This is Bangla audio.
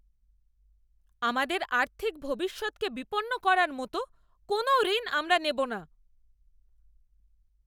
আমাদের আর্থিক ভবিষ্যৎকে বিপন্ন করার মতো কোনও ঋণ আমরা নেব না!